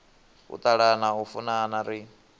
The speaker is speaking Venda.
u ṱalana u funana ri